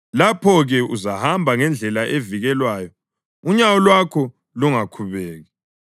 Lapho-ke uzahamba ngendlela evikelweyo unyawo lwakho lungakhubeki;